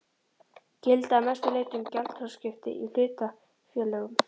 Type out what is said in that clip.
gilda að mestu leyti um gjaldþrotaskipti í hlutafélögum.